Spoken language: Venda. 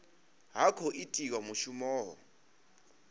ha khou itiwa mushumo ho